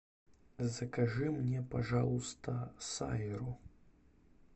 закажи мне пожалуйста сайру